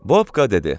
Bobka dedi: